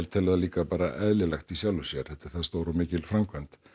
tel það líka bara eðlilegt í sjálfu sér þetta er það stór og mikil framkvæmd